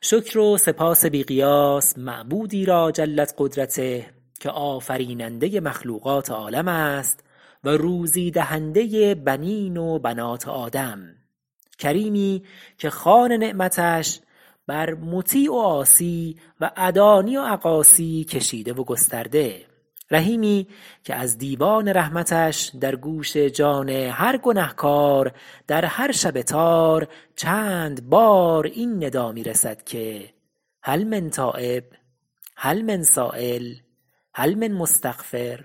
شکر و سپاس بی قیاس معبودی را جلت قدرته که آفریننده مخلوقات عالم است و روزی دهنده بنین و بنات آدم کریمی که خوان نعمتش بر مطیع و عاصی و ادانی و اقاصی کشیده و گسترده رحیمی که از دیوان رحمتش در گوش جان هر گنهکار در هر شب تار چند بار این ندا می رسد که هل من تایب هل من سایل هل من مستغفر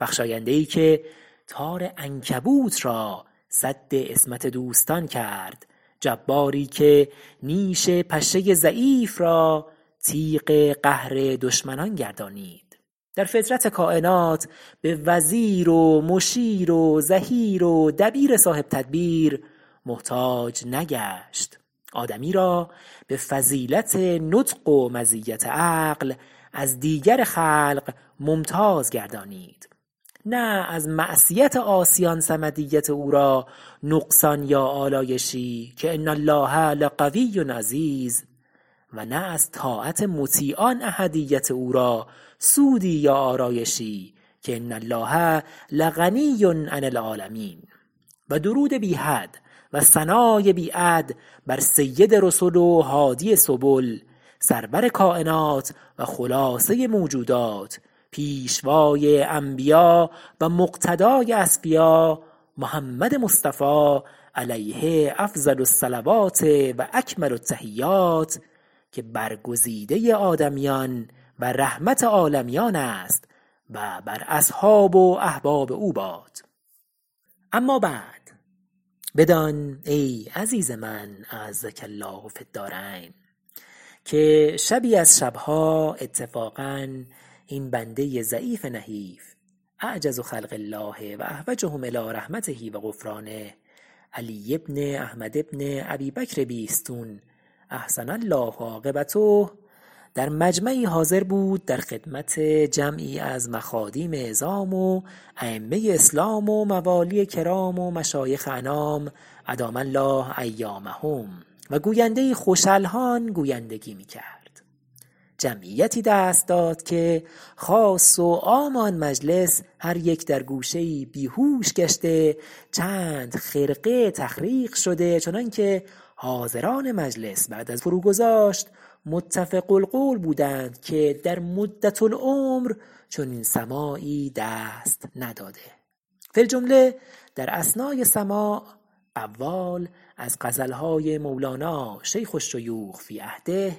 بخشاینده ای که تار عنکبوت را سد عصمت دوستان کرد جباری که نیش پشه ضعیف را تیغ قهر دشمنان گردانید در فطرت کاینات به وزیر و مشیر و ظهیر و دبیر صاحب تدبیر محتاج نگشت آدمی را به فضیلت نطق و مزیت عقل از دیگر خلق ممتاز گردانید نه از معصیت عاصیان صمدیت او را نقصان یا آلایشی که ان الله لقوی عزیز و نه از طاعت مطیعان احدیت او را سودی یا آرایشی که ان الله لغنی عن العالمین و درود بی حد و ثنای بی عد بر سید رسل و هادی سبل سرور کاینات و خلاصه موجودات پیشوای انبیا و مقتدای اصفیا محمد مصطفی علیه افضل الصلوات و اکمل التحیات که برگزیده آدمیان و رحمت عالمیان است و بر اصحاب و احباب او باد اما بعد بدان ای عزیز من اعزک الله فی الدارین که شبی از شب ها اتفاقا این بنده ضعیف نحیف اعجز خلق الله و احوجهم إلی رحمته و غفرانه علی بن احمد بن ابی بکر بیستون احسن الله عاقبته در مجمعی حاضر بود در خدمت جمعی از مخادیم عظام و ایمه اسلام و موالی کرام و مشایخ انام ادام الله ایامهم و گوینده ای خوش الحان گویندگی می کرد جمعیتی دست داد که خاص و عام آن مجلس هر یک در گوشه ای بیهوش گشته چند خرقه تخریق شده چنان که حاضران مجلس بعد از فرو گذاشت متفق القول بودند که در مدة العمر چنین سماعی دست نداده فی الجمله در اثنای سماع قوال از غزل های مولانا شیخ الشیوخ فی عهده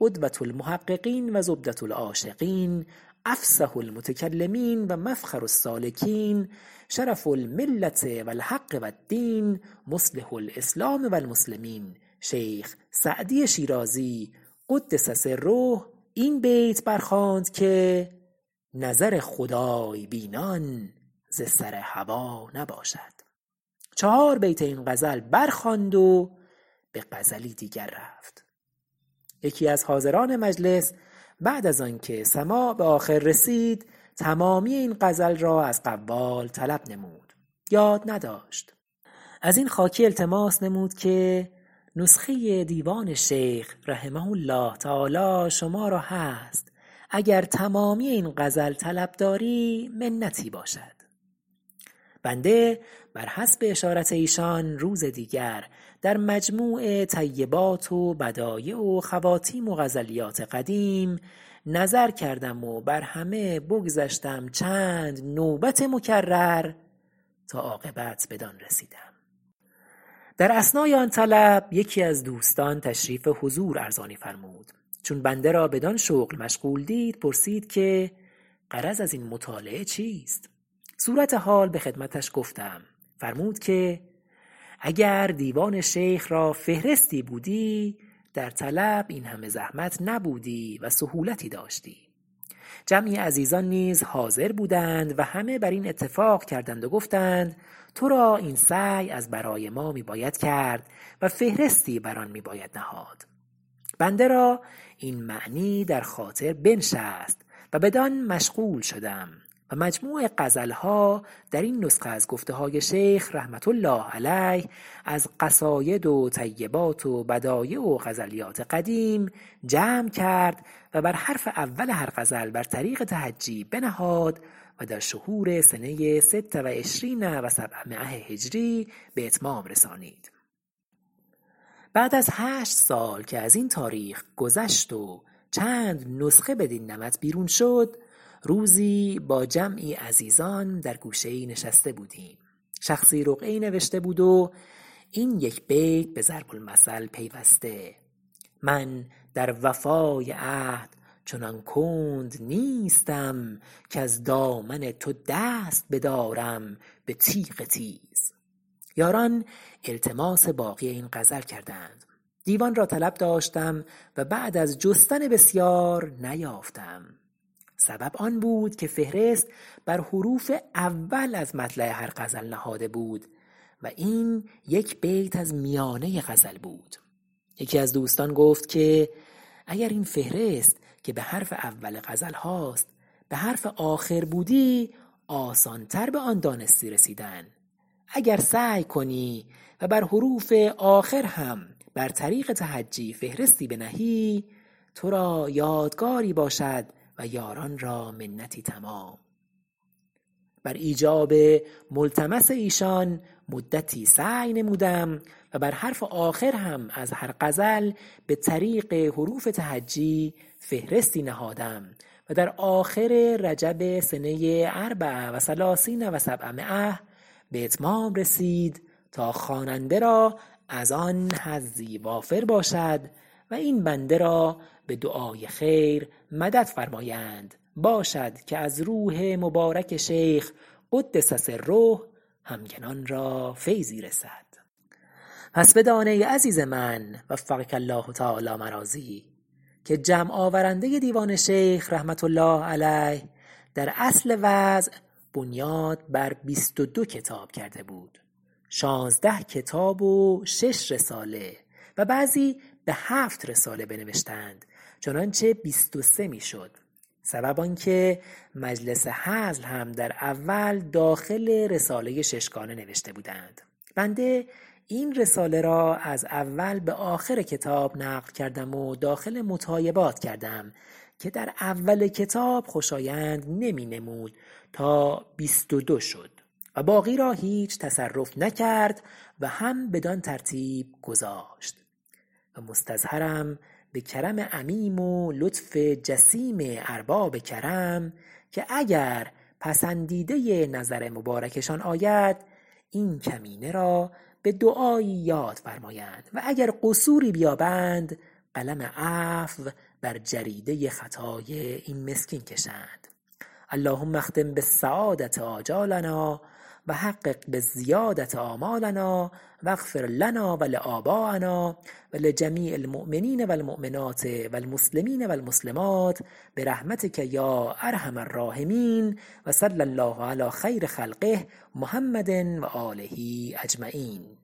قدوة المحققین و زبدة العاشقین افصح المتکلمین و مفخر السالکین شرف الملة و الحق و الدین مصلح الاسلام و المسلمین شیخ سعدی شیرازی قدس سره این بیت برخواند که نظر خدای بینان ز سر هوا نباشد چهار بیت این غزل بر خواند و به غزلی دیگر رفت یکی از حاضران مجلس بعد از آن که سماع به آخر رسید تمامی این غزل را از قوال طلب نمود یاد نداشت از این خاکی التماس نمود که نسخه دیوان شیخ رحمه الله تعالی شما را هست اگر تمامی این غزل طلب داری منتی باشد بنده بر حسب اشارت ایشان روز دیگر در مجموع طیبات و بدایع و خواتیم و غزلیات قدیم نظر کردم و بر همه بگذشتم -چند نوبت مکرر- تا عاقبت بدان رسیدم در اثنای آن طلب یکی از دوستان تشریف حضور ارزانی فرمود چون بنده را بدان شغل مشغول دید پرسید که غرض از این مطالعه چیست صورت حال به خدمتش گفتم فرمود که اگر دیوان شیخ را فهرستی بودی در طلب این همه زحمت نبودی و سهولتی داشتی جمعی عزیزان نیز حاضر بودند و همه بر این اتفاق کردند و گفتند تو را این سعی از برای ما می باید کرد و فهرستی بر آن می باید نهاد بنده را این معنی در خاطر بنشست و بدان مشغول شدم و مجموع غزلها در این نسخه از گفته های شیخ رحمة الله علیه از قصاید و طیبات و بدایع و غزلیات قدیم جمع کرد و بر حرف اول هر غزل بر طریق تهجی بنهاد و در شهور سنه ست و عشرین و سبعمایه هجری به اتمام رسانید بعد از هشت سال که از این تاریخ بگذشت و چند نسخه بدین نمط بیرون شد روزی با جمعی عزیزان در گوشه ای نشسته بودیم شخصی رقعه ای نوشته بود و این یک بیت به ضرب المثل پیوسته من در وفای عهد چنان کند نیستم کز دامن تو دست بدارم به تیغ تیز یاران التماس باقی این غزل کردند دیوان را طلب داشتم و بعد از جستن بسیار نیافتم سبب آن بود که فهرست بر حروف اول از مطلع هر غزل نهاده بود و این یک بیت از میانه غزل بود یکی از دوستان گفت که اگر این فهرست که به حرف اول غزل هاست به حرف آخر بودی آسان تر به آن دانستنی رسیدن اگر سعی کنی و بر حروف آخر هم بر طریق تهجی فهرستی بنهی تو را یادگاری باشد و یاران را منتی تمام بر ایجاب ملتمس ایشان مدتی سعی نمودم و بر حرف آخر هم از هر غزل به طریق حروف تهجی فهرستی نهادم و در آخر رجب سنه اربع و ثلاثین و سبعمایه به اتمام رسید تا خواننده را از آن حظی وافر باشد و این بنده را به دعای خیر مدد فرمایند باشد که از روح مبارک شیخ قدس سره همگان را فیضی رسد پس بدان ای عزیز من وفقک الله تعالی مراضیه که جمع آورندۀ دیوان شیخ رحمة الله علیه در اصل وضع بنیاد بر بیست و دو کتاب کرده بود شانزده کتاب و شش رساله و بعضی به هفت رساله بنوشتند چنانچه بیست و سه می شد سبب آن که مجلس هزل هم در اول داخل رساله ششگانه نوشته بودند بنده این رساله را از اول به آخر کتاب نقل کردم و داخل مطایبات کردم که در اول کتاب خوشایند نمی نمود تا بیست و دو شد و باقی را هیچ تصرف نکرد و هم بدان ترتیب گذاشت و مستظهرم به کرم عمیم و لطف جسیم ارباب کرم که اگر پسندیدۀ نظر مبارکشان آید این کمینه را به دعایی یاد فرمایند و اگر قصوری بیابند قلم عفو بر جریدۀ خطای این مسکین کشند اللهم اختم بالسعادة آجالنا و حقق بالزیادة آمالنا و اغفرلنا و لاباینا و لجمیع المؤمنین و المؤمنات و المسلمین و المسلمات برحمتک یا ارحم الراحمین و صلی الله علی خیر خلقه محمد و آله اجمعین